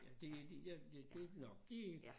Ja det det ja det det nåh det er